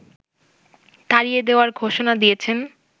তাড়িয়ে দেয়ার ঘোষণা দিয়েছেন